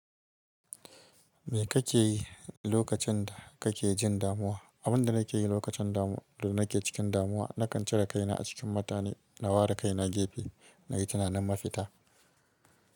Me kake yi lokacin da kake jin damuwa? Abin da nake yi lokacin damu da nake cikin damuwa, nakan cire kaina a cikin mutane, na ware kaina gefe na yi tunanin mafita.